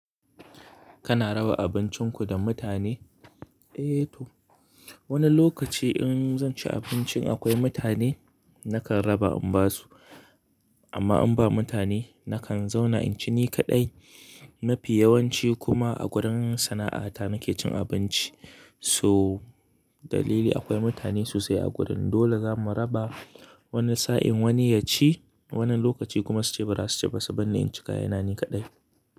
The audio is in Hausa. Kana raba abincinku da mutane? Eh to, wani lokaci in zan ci abinc in akwai mutane nakan raba in ba su. Amma in ba mutane nakan zauna in ci ni kaɗai. Mafi yawanci kuma a gurin sana'ata nake cin abinci. So dalili akwai mutane sosai a gurin. Dole zamu raba wani sa'in wani ya ci, wani lokaci kuma su ce bara su ci ba su barni in ci kayana ni kaɗai.